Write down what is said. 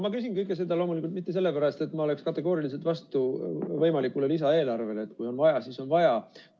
Ma küsin kõike seda loomulikult mitte sellepärast, et ma oleksin kategooriliselt vastu võimalikule lisaeelarvele, kui on vaja, siis on vaja.